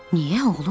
Niyə oğlum?